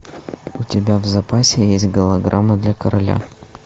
у тебя в запасе есть голограмма для короля